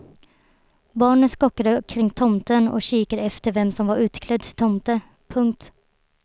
Barnen skockade kring tomten och kikade efter vem som var utklädd till tomte. punkt